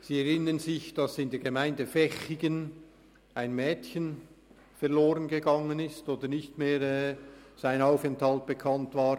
Sie erinnern sich, dass in der Gemeinde Vechigen ein Mädchen verloren gegangen oder sein Aufenthalt unbekannt war.